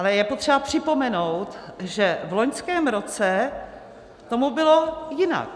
Ale je potřeba připomenout, že v loňském roce tomu bylo jinak.